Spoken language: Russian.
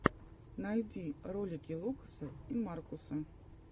найди ролики лукаса и маркуса